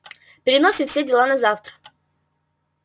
переносим все дела на завтра